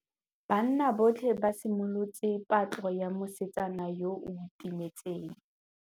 Banna botlhê ba simolotse patlô ya mosetsana yo o timetseng.